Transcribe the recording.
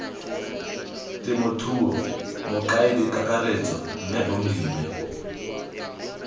temothuo mokaedi kakaretso mme bongiwe